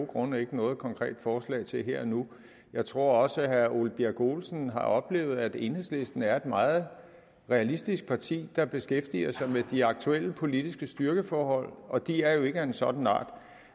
grunde ikke noget konkret forslag til her og nu jeg tror også herre ole birk olesen har oplevet at enhedslisten er et meget realistisk parti der beskæftiger sig med de aktuelle politiske styrkeforhold og de er jo ikke af en sådan art